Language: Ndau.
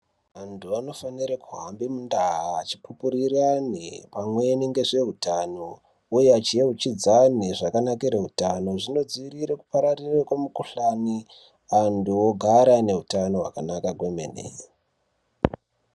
Anthu anofanire kuhamba mundaa achipupurire amwe pamweni ngezveutano uye achieuchidzane zvakanakire utano zvinodzivirira kupararira kwemikuhlani anthu ogare ane utano hwakanaka kwemene.